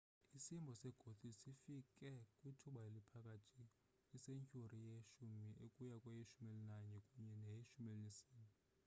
isimbo segothic sifike kwithuba eliphakathi kwesentyhuri ye-10 ukuya kweye-11 kunye neye-14